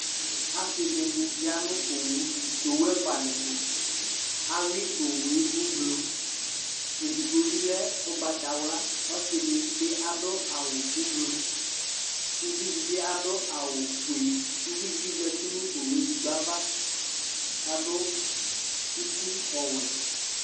Asidini yă nu owu ɛfua di tu Awui owué ublu Édigbo bi lɛ ugbata wlaƆsidibi adu awu ublu, uvi dibi adu awu fʊé Uʋidi bi zatinu owué édigbo ava Ka adu uti ɔwuɛ